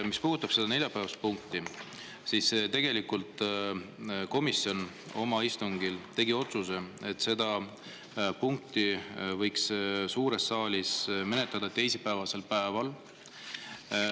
Mis puudutab seda neljapäevast punkti, siis tegelikult komisjon oma istungil tegi otsuse, et seda punkti võiks suures saalis menetleda teisipäevasel päeval.